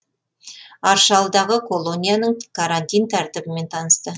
аршалыдағы колонияның карантин тәртібімен танысты